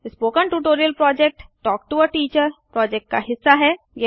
spoken tutorial project talk to a teacher project का हिस्सा है